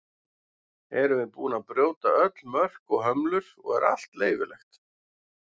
erum við búin að brjóta öll mörk og hömlur og er allt leyfilegt